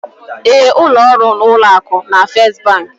Ee, ụlọ ọrụ ụlọ akụ na First Bank